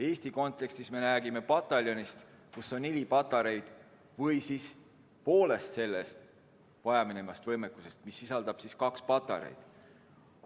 Eestis me räägime pataljonist, kus on neli patareid, või poolest vajaminevast võimekusest, mis sisaldab kaks patareid.